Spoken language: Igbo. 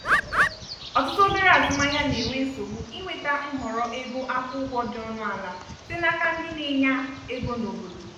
ọtụtụ obere azụmahịa na-enwe nsogbu inweta nhọrọ ego akwụ ụgwọ dị ọnụ ala site n'aka ndị na-enya ego na obodo